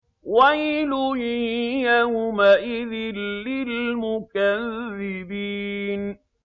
وَيْلٌ يَوْمَئِذٍ لِّلْمُكَذِّبِينَ